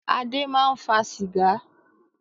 Adé máa ń fa sìgá.